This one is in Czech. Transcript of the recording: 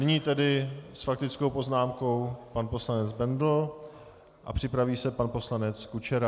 Nyní tedy s faktickou poznámkou pan poslanec Bendl a připraví se pan poslanec Kučera.